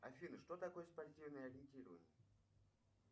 афина что такое спортивное ориентирование